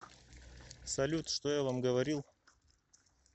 салют что я вам говорил